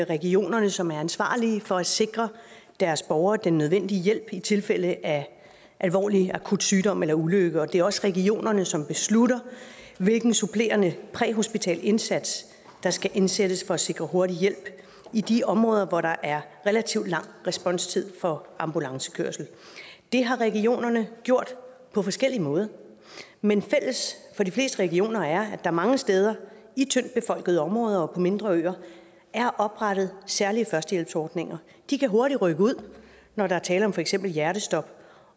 regionerne som er ansvarlige for at sikre deres borgere den nødvendige hjælp i tilfælde af alvorlig akut sygdom eller ulykke og det er også regionerne som beslutter hvilken supplerende præhospital indsats der skal indsættes for at sikre hurtig hjælp i de områder hvor der er relativt lang responstid for ambulancekørsel det har regionerne gjort på forskellig måde men fælles for de fleste regioner er at der mange steder i tyndt befolkede områder og på mindre øer er oprettet særlige førstehjælpsordninger de kan hurtigt rykke ud når der er tale om for eksempel hjertestop